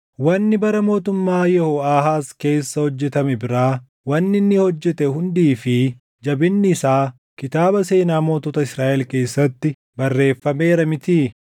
Wanni bara mootummaa Yehooʼaahaaz keessa hojjetame biraa, wanni inni hojjete hundii fi jabinni isaa kitaaba seenaa mootota Israaʼel keessatti barreeffameera mitii?